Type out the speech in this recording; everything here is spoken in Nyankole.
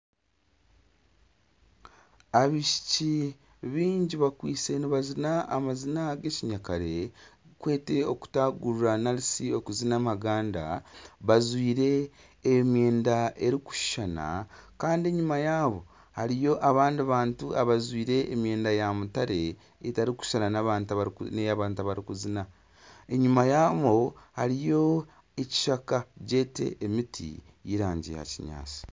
Abaishiki baingi bakwaitse nibazina amazina agekinyakare okutagurira narishi okuzina amaganda bajwaire emyenda erikushushana Kandi enyuma yaabo hariyo abandi bantu abajwaire emyenda ya mutare etarikushushana neyabantu abarikuzina enyuma yaabo hariyo ekishaka emiti yerangi ya kinyatsi